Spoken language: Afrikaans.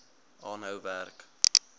aanhou werk